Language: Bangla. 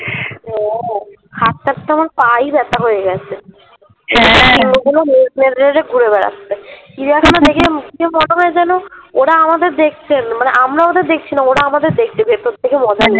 হ্যাঁ হাটতে হাটতে আমার পাই ব্যাথা হয়ে গেছে ঘুরে বেড়াচ্ছে চিড়িয়াখানায় দেখে মনে হয় যেন ওরা আমাদের দেখছে মানে আমরা ওদের দেখছি না ওরা আমাদের দেখছে সত্যি কি মজার